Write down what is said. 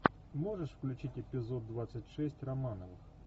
можешь включить эпизод двадцать шесть романовых